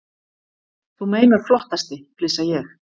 Þú meinar flottasti, flissa ég.